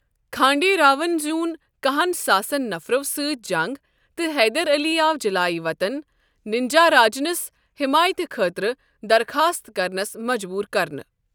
کھانڈے راؤن زیٛوٗن کہہن ساسن نفرو سۭتۍ جنگ، تہٕ حیدر علی آو جلایہ وطن ننجاراجنس حیمایتہٕ خٲطرٕ درخاصت كرنس مجبور کرنہٕ۔